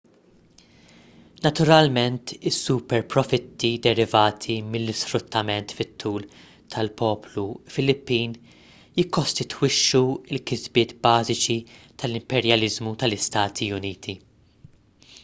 naturalment is-superprofitti derivati mill-isfruttament fit-tul tal-poplu filippin jikkostitwixxu l-kisbiet bażiċi tal-imperjaliżmu tal-istati uniti